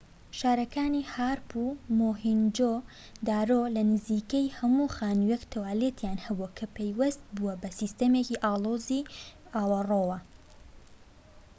شارەکانی هارەپ و مۆهێنجۆ-دارۆ لە نزیکەی هەموو خانوویەک توالێتیان هەبووە کە پەیوەست بووە بە سیستەمێکی ئاڵۆزی ئاوەڕۆ